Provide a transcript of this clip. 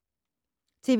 TV 2